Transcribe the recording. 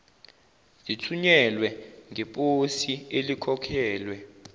zithunyelwe ngeposi elikhokhelwe